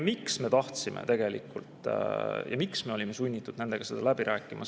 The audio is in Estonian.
Mida me tahtsime tegelikult ja miks me olime sunnitud nendega läbi rääkima?